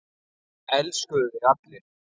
Það elskuðu þig allir.